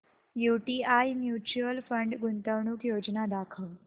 UTI mutual fund गुंतवणूक योजना दाखव